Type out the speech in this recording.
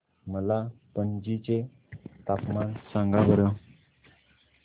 मला पणजी चे तापमान सांगा बरं